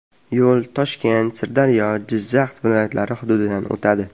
Yo‘l Toshkent, Sirdaryo, Jizzax viloyatlari hududidan o‘tadi.